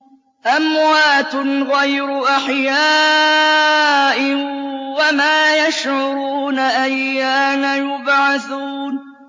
أَمْوَاتٌ غَيْرُ أَحْيَاءٍ ۖ وَمَا يَشْعُرُونَ أَيَّانَ يُبْعَثُونَ